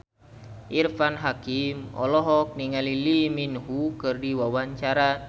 Irfan Hakim olohok ningali Lee Min Ho keur diwawancara